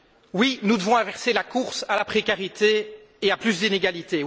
Oui, nous devons inverser la course à la précarité et à plus d'inégalité.